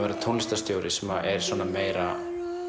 vera tónlistarstjóri sem er svona meira